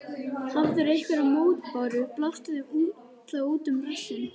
Hafirðu einhverjar mótbárur, blástu þeim þá út um rassinn.